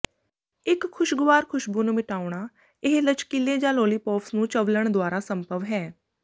ਇੱਕ ਖੁਸ਼ਗਵਾਰ ਖੁਸ਼ਬੂ ਨੂੰ ਮਿਟਾਉਣਾ ਇਹ ਲਚਕੀਲੇ ਜਾਂ ਲਾਲੀਪੌਪਸ ਨੂੰ ਚਵਲਣ ਦੁਆਰਾ ਸੰਭਵ ਹੈ